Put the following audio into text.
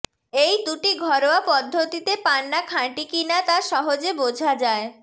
এই দুটি ঘরোয়া পদ্ধতিতে পান্না খাঁটি কিনা তা সহজে বোঝা যায়